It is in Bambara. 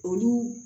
Olu